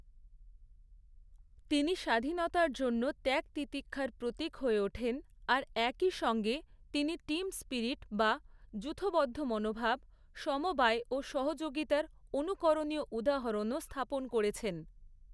তিনি স্বাধীনতার জন্য ত্যাগ তিতিক্ষার প্রতীক হয়ে ওঠেন, আর একই সঙ্গে তিনি টিম স্পিরিট বা যূথবদ্ধ মনোভাব, সমবায় ও সহযোগিতার অনুকরণীয় উদাহরণও স্থাপন করেছেন।